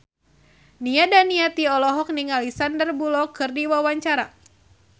Nia Daniati olohok ningali Sandar Bullock keur diwawancara